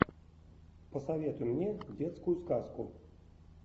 посоветуй мне детскую сказку